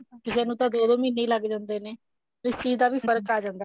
ਕਿਸੇ ਨੂੰ ਤਾਂ ਦੋ ਦੋ ਮਹੀਨੇ ਹੀ ਲੱਗ ਜਾਂਦੇ ਨੇ ਇਸ ਚੀਜ਼ ਦਾ ਵੀ ਫ਼ਰਕ ਆ ਜਾਂਦਾ